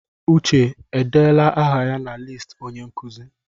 Uche edeela aha ya na listi onye nkuzi?